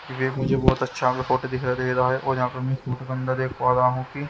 मुझे बहोत अच्छा का फोटो दिखाई दे रहा है और यहां पर मैं फोटो के अंदर देख पा रहा हूं कि--